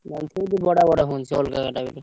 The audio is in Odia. ।